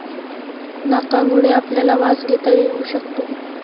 नाकामुळे आपल्याला वास घेता येऊ शकतो.